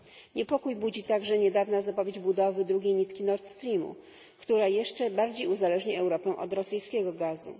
Niepokój budzi także niedawna zapowiedź budowy drugiej nitki Nord Streamu, która jeszcze bardziej uzależni Europę od rosyjskiego gazu.